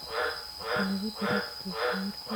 установи пиратские сумерки